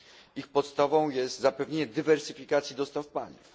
Ich podstawą jest zapewnienie dywersyfikacji dostaw paliw.